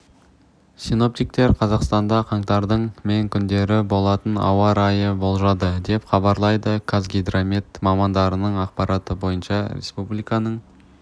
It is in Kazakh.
синоптиктер қазақстанда қаңтардың мен күндері болатын ауа райын болжады деп хабарлайды қазгидромет мамандарының ақпараты бойынша республиканың